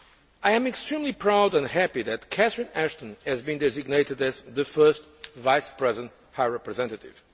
I am extremely proud and happy that Catherine Ashton has been designated as the first Vice President High Representative.